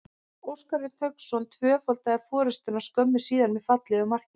Óskar Örn Hauksson tvöfaldaði forystuna skömmu síðar með fallegu marki.